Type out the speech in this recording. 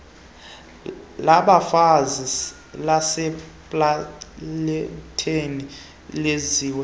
labafazi lasepalamente lenziwe